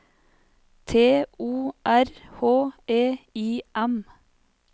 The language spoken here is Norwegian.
T O R H E I M